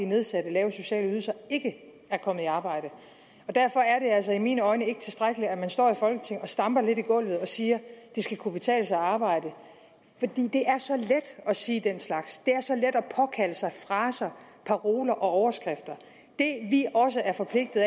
nedsatte lave sociale ydelser ikke er kommet i arbejde derfor er det altså set med mine øjne ikke tilstrækkeligt at man står i folketinget og stamper lidt i gulvet og siger at det skal kunne betale sig at arbejde det er så let at sige den slags det er så let at påkalde sig fraser paroler og overskrifter det vi også er forpligtet